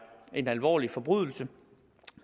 en alvorlig forbrydelse